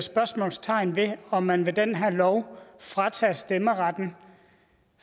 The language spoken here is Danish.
spørgsmålstegn ved om man med den her lov tager stemmeretten